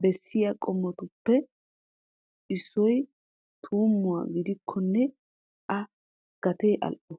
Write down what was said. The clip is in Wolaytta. bessiyaa qumatuppe issoy tuumuwaa gidikonne a gatee al"o.